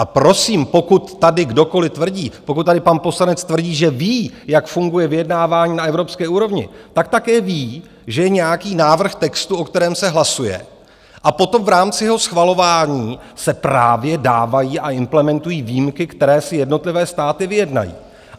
A prosím, pokud tady kdokoli tvrdí, pokud tady pan poslanec tvrdí, že ví, jak funguje vyjednávání na evropské úrovni, tak také ví, že je nějaký návrh textu, o kterém se hlasuje, a potom v rámci jeho schvalování se právě dávají a implementují výjimky, které si jednotlivé státy vyjednají.